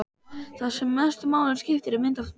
Það sem mestu máli skiptir er mynd af þér.